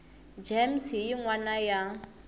gems hi yin wana ya